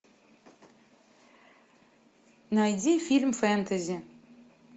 найди фильм фэнтези